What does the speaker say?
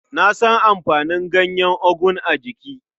Na san amfanin ganyen ogu a jiki.